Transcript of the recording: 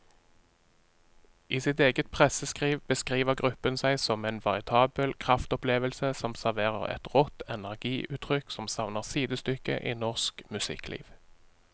I sitt eget presseskriv beskriver gruppen seg som en veritabel kraftopplevelse som serverer et rått energiutrykk som savner sidestykke i norsk musikkliv.